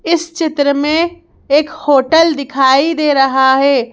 इस चित्र में एक होटल दिखाई दे रहा है।